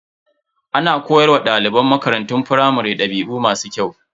Ana koyar wa daliban makarantun firamare dabi'u masu kyau.